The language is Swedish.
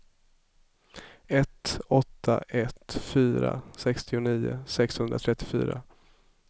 ett åtta ett fyra sextionio sexhundratrettiofyra